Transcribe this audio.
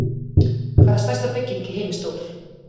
Hvað er stærsta bygging í heimi stór?